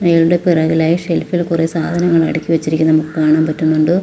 അയാളുടെ പുറകിലായി ഷെൽഫ് ഇൽ കുറേ സാധങ്ങൾ അടുക്കി വെച്ചിരിക്കുന്നത് നമുക്ക് കാണാൻ പറ്റുന്നുണ്ട്.